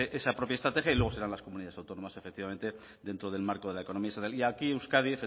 esa propia estrategia y luego serán las comunidades autónomas efectivamente dentro del marco de la economía aquí euskadi